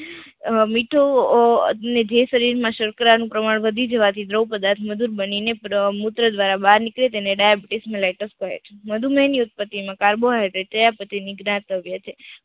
અમ મીઠો જે શરીર માં સર્કરા નું પ્રમાણ વધી જવાથી દ્રવ પદાર્થ મધુર બનીને પર મૂત્ર દ્વારા બહાર નીકળે તેને daibitus malaitus કહે છે મધુમય ની ઉત્પત્તિ માં કાર્બોહાયડ્રેડ ચયાપચય ની ગ્રાથ કહે છે.